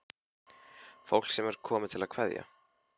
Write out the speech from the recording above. Fólk sem er komið til að kveðja.